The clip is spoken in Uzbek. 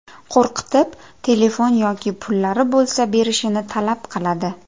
Qo‘rqitib, telefon yoki pullari bo‘lsa berishini talab qiladi.